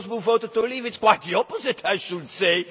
For those who voted to leave, it is quite the opposite I should say.